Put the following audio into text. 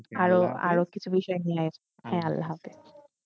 আর আর কিছু বিষয় নিয়ে, হে আল্লা হাফিজ।